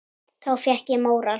Þá fékk ég móral.